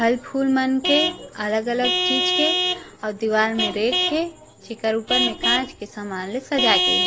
फल फूल मन के अलग अलग चीज़ के और दिवार मै रेक है एकर ऊपर मै काच के समान सजाई के है।